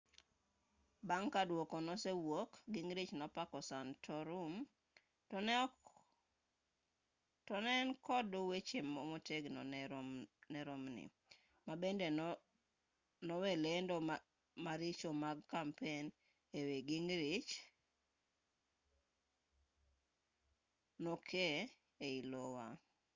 bang' ka duoko nosewuok gingrich nopako santorum to ne en kod weche motegno ne romney ma bende e loe lendo maricho mag kampen e wi gingrich nokee ei iowa